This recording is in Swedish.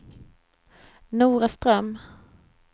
Noraström